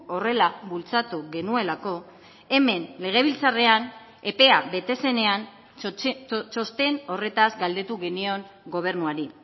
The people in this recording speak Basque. horrela bultzatu genuelako hemen legebiltzarrean epea bete zenean txosten horretaz galdetu genion gobernuari